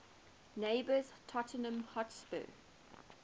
neighbours tottenham hotspur